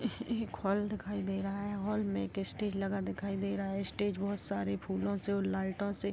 एक हॉल दिखाई दे रहा है। हॉल में स्टेज लगा हुआ दिखाई दे रहा है। स्टेज बहुत सारे फूलों से लाइटों से --